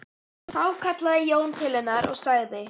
Þá kallaði Jón til hennar og sagði